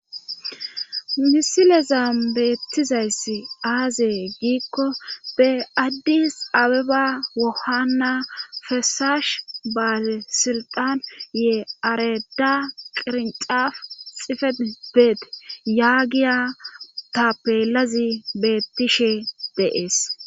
Misile zaam beettizayss aazee giikko be addis abeba wohana fesaash baase silxan yee areda qirinxaf xife beet yaagiya ta peelazi beettishe deees